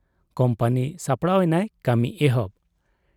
ᱠᱩᱢᱯᱟᱹᱱᱤ ᱥᱟᱯᱲᱟᱣ ᱮᱱᱟᱭ ᱠᱟᱹᱢᱤ ᱮᱦᱚᱵ ᱾